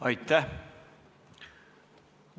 Aitäh!